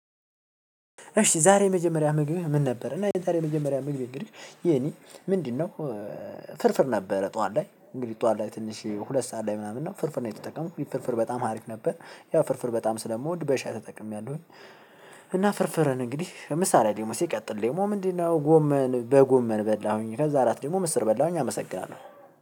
እሺ ዛሬ የመጀመሪያ ምግብህ ምን ነበር እና ታዲያ የመጀመሪያ ምግብህ እንግድህ የኔ ምንድነው? ፍርፍር ነበረ ጠዋት ላይ እንግዲህ ጠዋት ላይ ትንሽ ሁለት ሰዓት ላይ ምናምን ነው ፍርፍር ነው የተጠቀመው ፍርፍር በጣም ሀሪፍ ነበር ያ ፍርፍር በጣም ስለምወድ በሻይ ተጠቅሜያለሁኝ። እና ፍርፍርን እንግዲህ ምሳ ላይ ደግሞ ሲቀጥል ደግሞ ምንድነው ጎመን በጎመን በላሁኝ። ከዛ አራት ደግሞ ምስር በላሁኝ አመሰግናለሁ።